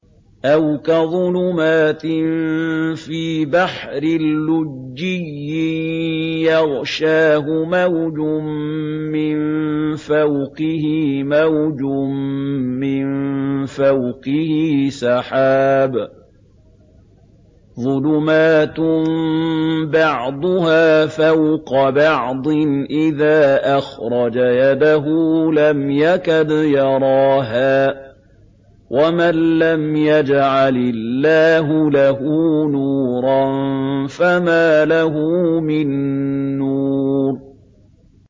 أَوْ كَظُلُمَاتٍ فِي بَحْرٍ لُّجِّيٍّ يَغْشَاهُ مَوْجٌ مِّن فَوْقِهِ مَوْجٌ مِّن فَوْقِهِ سَحَابٌ ۚ ظُلُمَاتٌ بَعْضُهَا فَوْقَ بَعْضٍ إِذَا أَخْرَجَ يَدَهُ لَمْ يَكَدْ يَرَاهَا ۗ وَمَن لَّمْ يَجْعَلِ اللَّهُ لَهُ نُورًا فَمَا لَهُ مِن نُّورٍ